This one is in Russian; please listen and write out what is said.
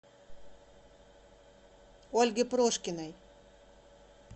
ольге прошкиной